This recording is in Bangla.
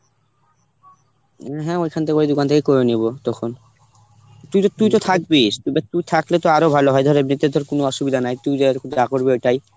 হ্যাঁ ওখান থেকে ওই দোকান থেকে করে নিব তখন. তুই তো, তুই তো থাকবিস কিংবা তুই থাকলে তো আরো ভালো হয় ধর এমনিতে তোর কোন অসুবিধা নাই তুই দেখ যা করবি ওটাই.